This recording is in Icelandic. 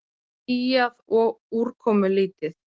Skýjað og úrkomulítið